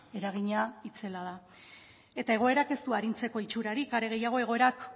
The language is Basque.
eragina itzela da eta egoerak ez du arintzeko itxurarik are gehiago egoerak